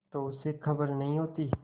तो उसे खबर नहीं होती